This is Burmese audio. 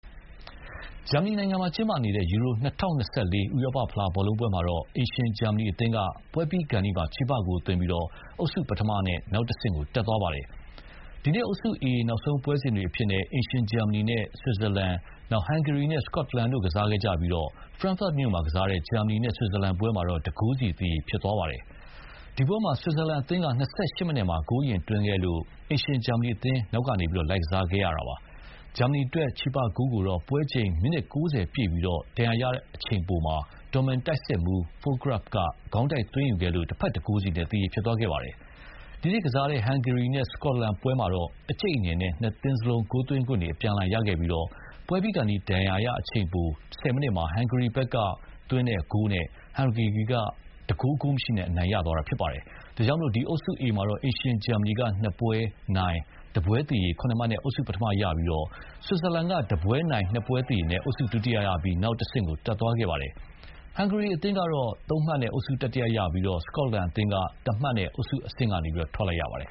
ဂျာမနီနိုင်ငံမှာကျင်းပနေတဲ့ ယူရို-၂၀၂၄ ဥရောပဖလားဘောလုံးပွဲမှာတော့ အိမ်ရှင်ဂျာမနီအသင်းက ပွဲပြီးခါနီးမှ ချေပဂိုးသွင်းပြီး အုပ်စုပထမနဲ့ နောက်တဆင့်တက်သွားပါတယ်။ ဒီနေ့ အုပ်စု A နောက်ဆုံးပွဲစဉ်တွေအဖြစ်နဲ့ အိမ်ရှင်ဂျာမနီနဲ့ ဆွစ်ဇာလန်၊ ဟန်ဂေရီနဲ့ စကော့တလန်တို့ကစားခဲ့ကြပြီး ဖရန့်ဖတ်မြို့မှာကစားတဲ့ ဂျာမနီ နဲ့ ဆွစ်ဇာလန်ပွဲမှာတော့ ၁ ဂိုးစီ သရေဖြစ်သွားပါတယ်။ ဒီပွဲမှာ ဆွစ်ဇာလန်အသင်းက ၂၈ မိနစ်မှာ ဂိုးအရင်သွင်းခဲ့လို့ အိမ်ရှင်ဂျာမနီအသင်း နောက်ကနေ လိုက်ကစားခဲ့ရပါတယ်။ ဂျာမနီအတွက် ချေပဂိုးကိုတော့ ပွဲချိန် မိနစ် ၉၀ ပြည့်ပြီး ဒဏ်ရာရအချိန်ပိုမှာ ဒေါ့မန်တိုက်စစ်မှူး Fullkrug က ခေါင်းတိုက်သွင်းခဲ့လို့ တဘက် ၁ ဂိုးစီနဲ့ သရေဖြစ်သွားခဲ့ပါတယ်။ စတုဂတ်မြို့မှာကစားတဲ့ဟန်ဂေရီနဲ့ စကော့တလန်ပွဲမှာတော့ အကြိတ်အနယ်နဲ့ ၂ သင်းစလုံး ဂိုးသွင်းခွင့်တွေအပြန်အလှန်ရခဲ့ပြီး ပွဲပြီးခါနီး ဒဏ်ရာရအချိန်ပို ၁၀ မိနစ်မှာ ဟန်ဂေရီဘက်က Csoboth သွင်းတဲ့ဂိုးနဲ့ ဟန်ဂေရီက ၁ ဂိုး ဂိုးမရှိနဲ့ နိုင်သွားခဲ့ပါတယ်။ ဒါကြောင့် ဒီ အုပ်စု A မှာတော့ အိမ်ရှင်ဂျာမနီက ၂ ပွဲနိုင်၊ ၁ ပွဲသရေ ၇ မှတ်နဲ့ အုပ်စု ပထမရပြီး ဆွစ်ဇာလန်က ၁ ပွဲနိုင်၊ ၂ ပွဲသရေနဲ့ အုပ်စုဒုတိယရပြီး နောက်တဆင့်ကိုတက်သွားခဲ့ပါတယ်။ ဟန်ဂေရီအသင်းကတော့ ၃ မှတ်နဲ့ အုပ်စု တတိယရပြီး စကော့တလန်အသင်းကတော့ ၁ မှတ်နဲ့အုပ်စုအဆင့်ကနေ ထွက်လိုက်ရပါတယ်